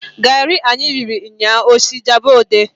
Garị anyị riri nnya osị Ijabode?